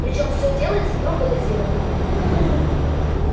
причём все делается строго дозировано